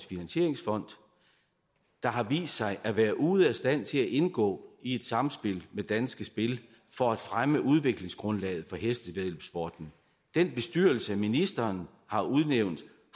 finansieringsfond der har vist sig at være ude af stand til at indgå i et samspil med danske spil for at fremme udviklingsgrundlaget for hestevæddeløbssporten den bestyrelse ministeren har udnævnt